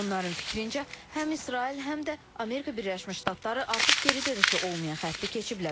Onların fikrincə, həm İsrail, həm də Amerika Birləşmiş Ştatları artıq geri dönüşü olmayan xətti keçiblər.